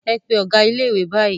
Pe ọ̀gá ilé-ìwé báyìí!